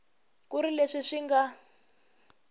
ku ri leswi swi nga